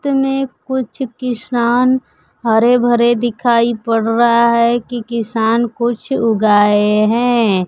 खेत में कुछ किसान हरे भरे दिखाई पड़ रहा है की किसान कुछ उगाए हैं।